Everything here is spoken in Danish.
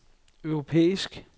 europæisk